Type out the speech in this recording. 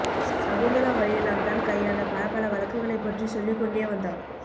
சகுந்தலா வழியெல்லாம் தான் கையாண்ட பலப்பல வழக்குகளைப் பற்றி சொல்லிக் கொண்டே வந்தாள்